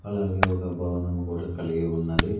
అలాగే ఒక భవనము కూడా కలిగి ఉన్నది.